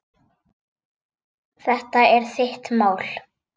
Þetta er þitt mál.